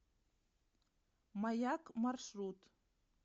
маяк маршрут